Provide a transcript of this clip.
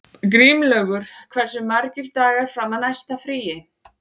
Grímlaugur, hversu margir dagar fram að næsta fríi?